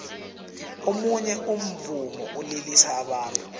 omunye umvumo ulilisa abantu